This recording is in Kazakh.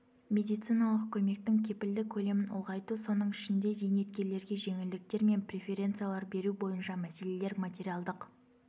медициналық көмектің кепілді көлемін ұлғайту соның ішінде зейнеткерлерге жеңілдіктер мен преференциялар беру бойынша мәселелер материалдық